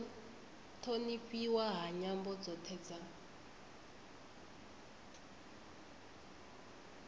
thonifhiwa ha nyambo dzothe dza